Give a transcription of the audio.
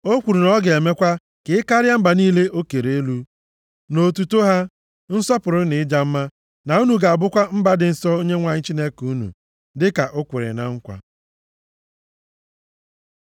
O kwuru na ọ ga-emekwa ka i karịa mba niile o kere elu, nʼotuto, nʼaha, nsọpụrụ na ịja mma. Na unu ga-abụkwa mba dị nsọ nye Onyenwe anyị Chineke unu, dịka o kwere na nkwa.